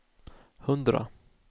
hundra